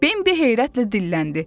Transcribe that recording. Bimbi heyrətlə dilləndi.